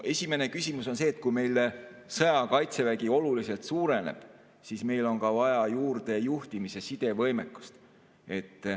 Esimene küsimus on see, et kui meil sõjaaja Kaitsevägi oluliselt suureneb, siis meil on vaja juurde juhtimis‑ ja sidevõimekust.